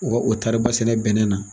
Wa o taari ba sɛnɛ bɛnɛ na.